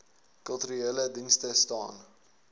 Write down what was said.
kulturele dienste staan